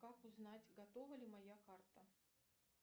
как узнать готова ли моя карта